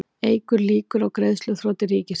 Eykur líkur á greiðsluþroti ríkisins